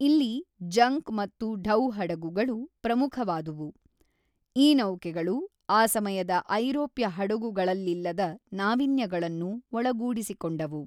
ಇಲ್ಲಿ ಜಂಕ್ ಮತ್ತು ಢೌ ಹಡಗುಗಳು ಪ್ರಮುಖವಾದವು ಈ ನೌಕೆಗಳು ಆ ಸಮಯದ ಐರೋಪ್ಯ ಹಡಗುಗಳಲ್ಲಿಲ್ಲದ ನಾವೀನ್ಯಗಳನ್ನು ಒಳಗೂಡಿಸಿಕೊಂಡವು.